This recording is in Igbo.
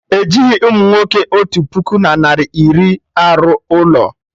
Ejighị umunwoke otu puku na narị iri arụ ụlọ